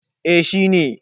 eh shi ne